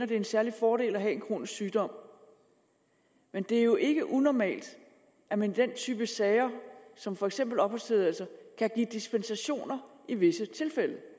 det er en særlig fordel at have en kronisk sygdom men det er jo ikke unormalt at man i den type sager som for eksempel opholdstilladelser kan give dispensationer i visse tilfælde